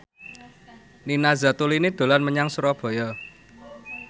Nina Zatulini dolan menyang Surabaya